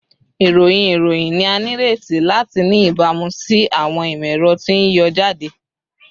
Irohin iroyin ni a nireti lati ni ibamu si awọn imọ-ẹrọ ti n yọ jade